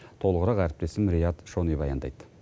толығырақ әріптесім рият шони баяндайды